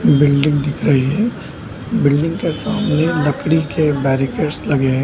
Building दिख रही है बिल्डिंग के सामने लकड़ी के बैरिकेड्स लगे हैं।